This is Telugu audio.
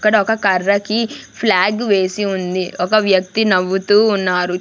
ఇక్కడ ఒక కర్రకి ఫ్లాగ్ వేసి ఉంది ఒక వ్యక్తి నవ్వుతూ ఉన్నారు.